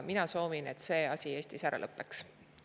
Mina soovin, et see asi Eestis ära lõppeks.